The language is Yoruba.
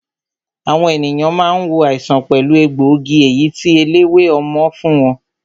Àwọn ènìyàn máa ń wo àìsàn pẹ̀lú egbòogi èyí tí eléwé ọmọ fún wọn